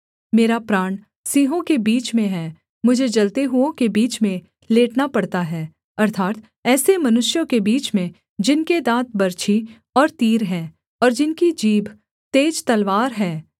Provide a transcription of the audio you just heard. मेरा प्राण सिंहों के बीच में है मुझे जलते हुओं के बीच में लेटना पड़ता है अर्थात् ऐसे मनुष्यों के बीच में जिनके दाँत बर्छी और तीर हैं और जिनकी जीभ तेज तलवार है